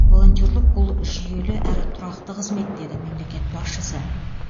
волонтерлік бұл жүйелі әрі тұрақты қызмет деді мемлекет басшысы